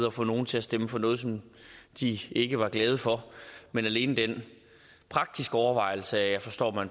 at få nogle til at stemme for noget som de ikke var glade for men alene den praktiske overvejelse at jeg forstod at